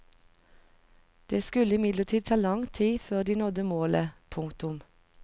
Det skulle imidlertid ta lang tid før de nådde målet. punktum